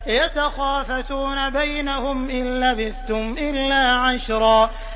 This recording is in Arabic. يَتَخَافَتُونَ بَيْنَهُمْ إِن لَّبِثْتُمْ إِلَّا عَشْرًا